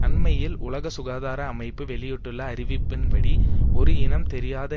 அண்மையில் உலக சுகாதார அமைப்பு வெளியிட்டுள்ள அறிவிப்பின்படி ஒரு இனம் தெரியாத